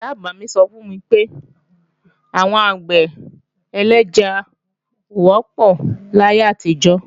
Ìyá-àgbà mí sọ fún mi pé, àwọn àgbẹ̀ ẹlẹ́ja ò wọ́pọ̀ láyé àtijọ́